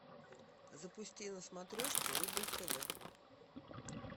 запусти на смотрешке рубль тв